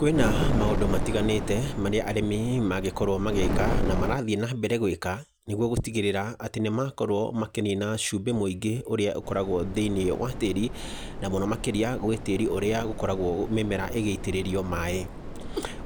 Kwĩna maũndũ matiganĩte marĩa arĩmi mangĩkorwo magĩka na marathiĩ na mbere gwĩka nĩguo gũtigĩrĩra atĩ nĩ makorwo makĩnina cumbĩ mũingĩ ũrĩa ũkoragwo thĩini wa tĩĩri, na mũno makĩrĩa gwĩ tĩĩri ũrĩa ũkoragwo mĩmera ĩgĩitĩrĩrio maaĩ.